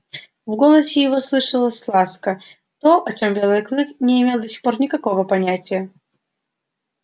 в голосе его слышалась ласка то о чём белый клык не имел до сих пор никакого понятия